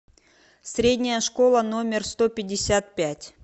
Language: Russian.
средняя школа номер сто пятьдесят пять